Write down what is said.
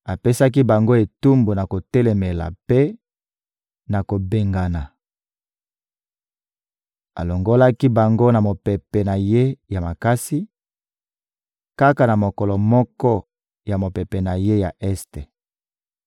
Apesaki bango etumbu na kotelemela mpe na kobengana. Alongolaki bango na mopepe na Ye ya makasi, kaka na mokolo moko ya mopepe na Ye ya este.